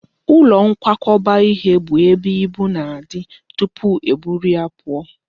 Ụlọ nkwakọba ihe bụ ebe ibu na-adị tụpụ e buru ya pụọ